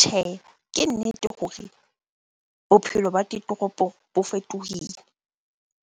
Tjhehe, ke nnete hore bophelo ba ditoropong bo fetohile.